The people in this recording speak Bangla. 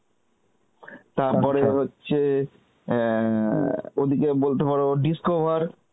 তার হচ্ছে অ্যাঁ, ওদিকে বলতে পারো discover